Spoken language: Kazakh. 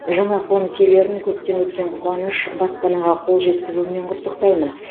жаңа қоныс иелерін көптен күткен қуаныш баспанаға қол жеткізуімен құттықтаймын